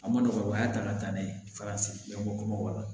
A ma nɔgɔ o y'a ta ka taa n'a ye farafin ɲamanko kumaba